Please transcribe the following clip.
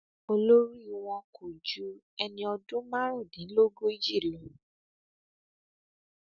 olórí wọn kò ju ẹni ọdún márùndínlógójì lọ